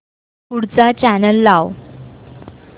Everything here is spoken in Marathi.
पुढचा चॅनल लाव